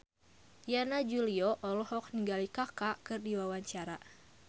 Yana Julio olohok ningali Kaka keur diwawancara